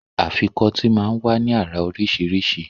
Afikọ́tì máa ń wá ní àrà oríṣiríṣi